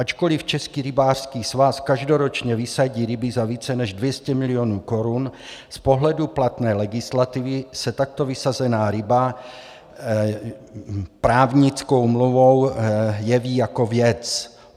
Ačkoli Český rybářský svaz každoročně vysadí ryby za více než 200 milionů korun, z pohledu platné legislativy se takto vysazená ryba právnickou mluvou jeví jako věc.